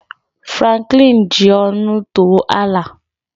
Franklin ji ọṅụ too Allà